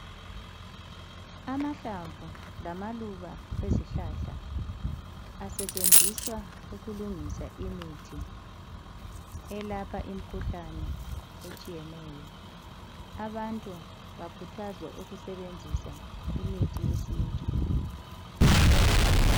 Amahlamvu lamaluba ezihlahla asetshenziswa ukulungisa imithi elapha imkhuhlane etshiyeneyo. Abantu bakhuthazwa ukusebenzisa imithi yesintu.